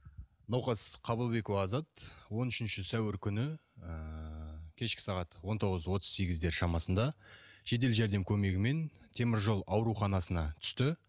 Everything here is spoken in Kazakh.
науқас қабылбекова азат он үшінші сәуір күні ыыы кешкі сағат он тоғыз отыз сегіздер шамасында жедел жәрдем көмегімен темір жол ауруханасына түсті